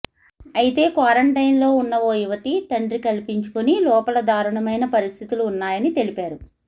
అయితే క్వారంటైన్లో ఉన్న ఓ యువతి తండ్రి కల్పించుకుని లోపల దారుణమైన పరిస్థితులు ఉన్నాయని తెలిపారు